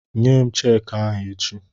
Nyem cheeki ahụ echi!